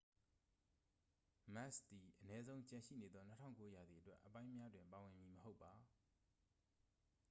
မက်စ်စ သည် အနည်းဆုံး ကျန်ရှိနေသော 2009 ရာသီအတွက်အပိုင်းများတွင် ပါဝင်မည်မဟုတ်ပါ